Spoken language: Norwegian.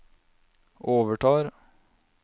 overtar